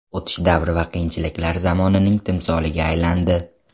O‘tish davri va qiyinchiliklar zamonining timsoliga aylandi.